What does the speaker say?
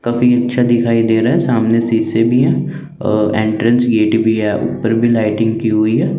कभी छत दिखाई दे रहा है सामने सीसे भी है एंट्रेंस गेट भी है उपर भी लाइटिंग की हुई है।